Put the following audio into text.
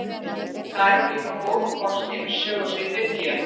Þar eru líka góð kort yfir sögusvið Biblíunnar.